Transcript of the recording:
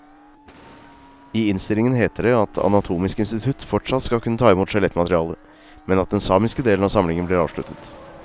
I innstillingen heter det at anatomisk institutt fortsatt skal kunne ta imot skjelettmateriale, men at den samiske delen av samlingen blir avsluttet.